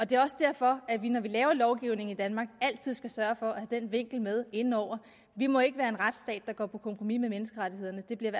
det er også derfor at vi når vi laver lovgivning i danmark altid skal sørge for at have den vinkel med inde over vi må ikke være en retsstat der går på kompromis med menneskerettighederne det bliver i